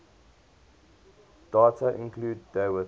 daga include dawit